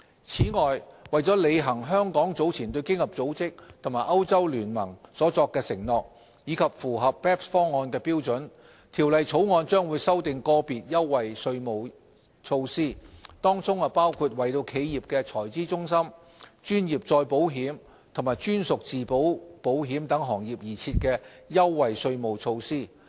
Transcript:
此外，為履行香港早前對經合組織及歐洲聯盟所作的承諾，以及符合 BEPS 方案的標準，《條例草案》將修訂個別優惠稅務措施，當中包括為企業財資中心、專業再保險及專屬自保保險等行業而設的優惠稅務措施。